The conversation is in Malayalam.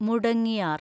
മുടങ്ങിയാർ